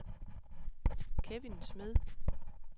Kevin Smed